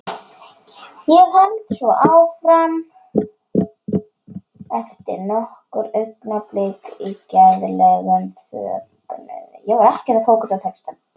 Og hélt svo áfram eftir nokkur augnablik í gleðilegum fögnuði